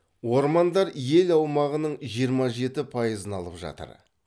ормандар ел аумағының жиырма жеті пайызын алып жатыр